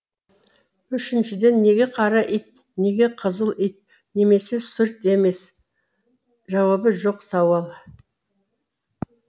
үшіншіден неге қара ит неге қызыл ит немесе сұр ит емес жауабы жоқ сауал